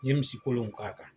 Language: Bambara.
N ye misi kolon in k'a kan.